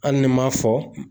Hali ni m'a fɔ